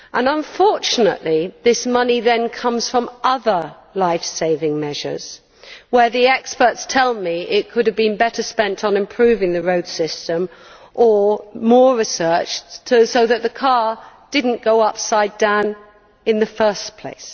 Unfortunately, this money then comes from other lifesaving measures where the experts tell me it could have been better spent on improving the road system or more research so that the car did not go upside down in the first place.